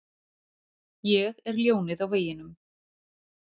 Ég er ljónið á veginum.